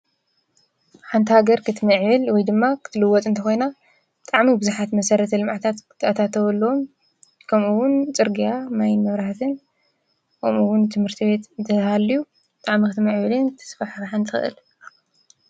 ሓንታ ገር ክትሚዕበል ወይ ድማ ኽትልወጥ እንተኾይና፤ ጣዕሚ ብዙኃት መሠረት ልምዕታት ክትእታተወሎም፤ ከምኡውን ጽርግያ ማይን መብራህትን ኦምኡውን ትምህርቲ ቤት ትሃልዩ ጥዕሚ ኽትመ ኣዕብልን ተስፋሕሕርሓን ትኽእል።